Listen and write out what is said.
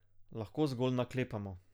Lahko zgolj naklepamo.